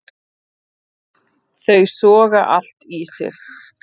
Þau soga allt í sig.